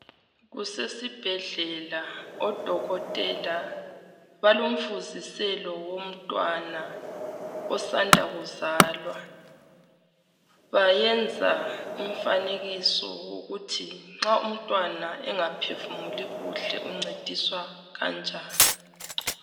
kusesibhedlela odokotela balomfuziselo womntwana osanda kuzalwa bayenza umfanekiso wokuthi nxa umntwana engaphefumuli kuhle uncediswa kanjani